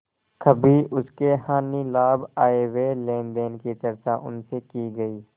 कभी उसके हानिलाभ आयव्यय लेनदेन की चर्चा उनसे की गयी